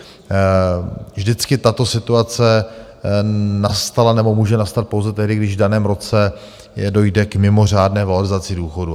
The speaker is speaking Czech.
Vždycky tato situace nastala nebo může nastat pouze tehdy, když v daném roce dojde k mimořádné valorizaci důchodů.